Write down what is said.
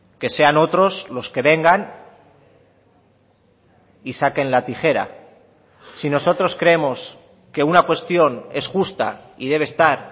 que sean otros los que vengan y saquen la tijera si nosotros creemos que una cuestión es justa y debe estar